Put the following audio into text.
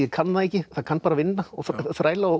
kann það ekki það kann bara að vinna og þræla og